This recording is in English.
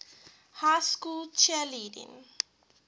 high school cheerleading